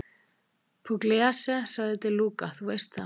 Pugliese, sagði De Luca, þú veist það.